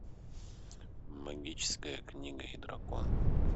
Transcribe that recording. магическая книга и дракон